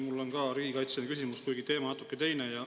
Mul on ka riigikaitseline küsimus, kuigi teema natuke teine.